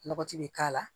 Lɔgɔti bɛ k'a la